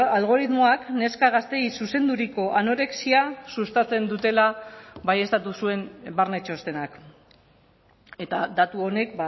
algoritmoak neska gazteei zuzenduriko anorexia sustatzen dutela baieztatu zuen barne txostenak eta datu honek